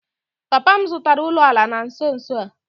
Papa m zụtara ụlọala na nso nso a